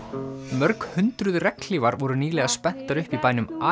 mörg hundruð regnhlífar voru nýlega spenntar upp í bænum